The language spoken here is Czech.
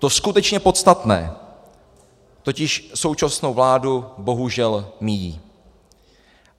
To skutečně podstatné totiž současnou vládu bohužel míjí.